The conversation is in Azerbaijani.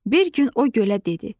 Bir gün o gölə dedi: